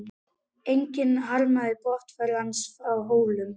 Enginn harmaði brottför hans frá Hólum.